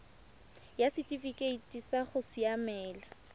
ya setifikeite sa go siamela